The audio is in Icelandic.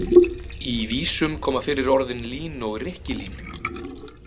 Í vísum koma fyrir orðin lín og rykkilín.